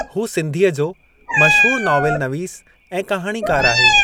हू सिंधीअ जो मशहूरु नाविलनवीसु ऐं कहाणीकार आहे।